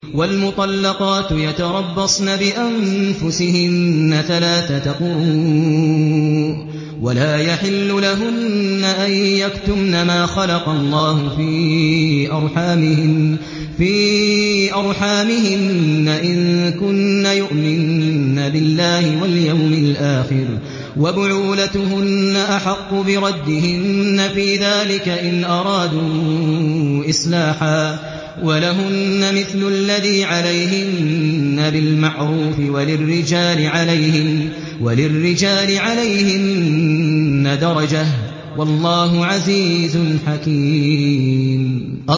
وَالْمُطَلَّقَاتُ يَتَرَبَّصْنَ بِأَنفُسِهِنَّ ثَلَاثَةَ قُرُوءٍ ۚ وَلَا يَحِلُّ لَهُنَّ أَن يَكْتُمْنَ مَا خَلَقَ اللَّهُ فِي أَرْحَامِهِنَّ إِن كُنَّ يُؤْمِنَّ بِاللَّهِ وَالْيَوْمِ الْآخِرِ ۚ وَبُعُولَتُهُنَّ أَحَقُّ بِرَدِّهِنَّ فِي ذَٰلِكَ إِنْ أَرَادُوا إِصْلَاحًا ۚ وَلَهُنَّ مِثْلُ الَّذِي عَلَيْهِنَّ بِالْمَعْرُوفِ ۚ وَلِلرِّجَالِ عَلَيْهِنَّ دَرَجَةٌ ۗ وَاللَّهُ عَزِيزٌ حَكِيمٌ